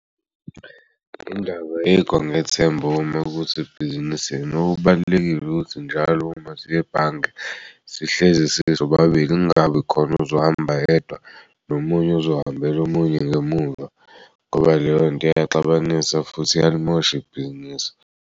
Indaba yikho nginethemba uma ukuthi ibhizinisi yini. Okubalulekile ukuthi njalo umasiye ebhange sihlezi size sobabili kungabi khona ozohamba yedwa nomunye ezohambel'omunye ngemuva ngoba leyo nto iyaxabanisa futhi iyalimosh'ibhizinisi.